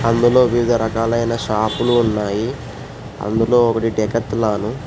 అందులో వివిధ రకాలైన షాపు లు ఉన్నాయి అందులో ఒకటి డికోటెలన్.